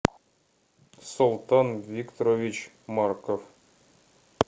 султан викторович марков